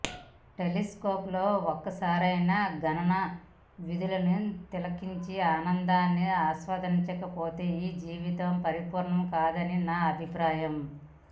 టెలిస్కోపులో ఒక్కసారైనా గగన వీధులని తిలకించి ఆ అందాన్ని ఆస్వాదించకపోతే ఈ జీవితం పరిపూర్ణం కాదని నా అభిప్రాయం